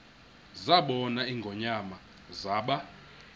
zabona ingonyama zaba